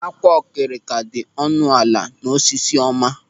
Ákwà okirika dị ọnụ ala n'Osisiọma.